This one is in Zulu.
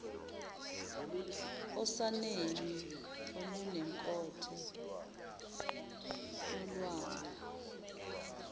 osaneni olunenkotho yolwanga